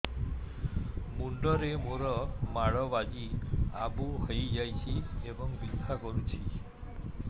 ମୁଣ୍ଡ ରେ ମାଡ ବାଜି ଆବୁ ହଇଯାଇଛି ଏବଂ ବିନ୍ଧା କରୁଛି